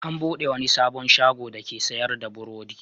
An buɗe wani sabon shago dake sayar da burodi.